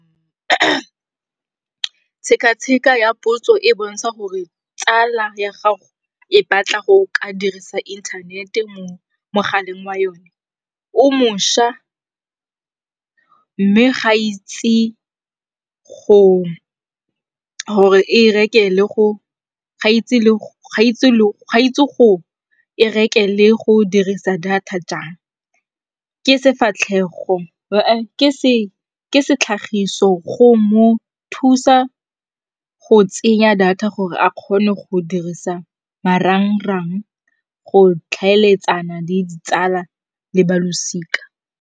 Tsheka-tsheka ya potso e bontsha gore tsala ya gago e batla go ka dirisa inthanete mo mogaleng wa yone o mošwa mme ga e itse gore e reke le go dirisa data jang. Ke setlhagiso go mo thusa go tsenya data gore a kgone go dirisa marang-rang, go tlhaeletsana le ditsala le ba losika.